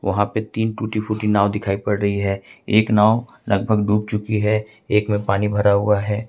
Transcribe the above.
वहां पे तीन टूटी फूटी नाव दिखाई पड़ रही है एक नाव लगभग डूब चुकी है एक में पानी भरा हुआ है।